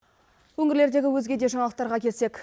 өңірлердегі өзге де жаңалықтарға келсек